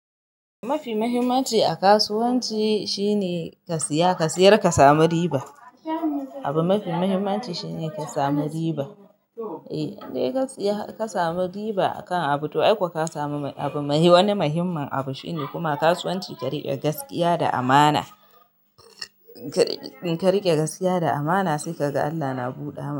Mafi mahimmanci a kasuwanci shine ka siya, ka sayar ka samu riba. Abu mafi mahimmanci shine ka samu riba. In dai ka siya ka samu riba a kan abu to ai ko ka samu mai wani muhimmun abu shine kuma kasuwanci ka rike gaskiya da amana. Ka rike gaskiya da amana sai ka ga Allah na buɗa.